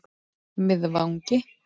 Miðvangi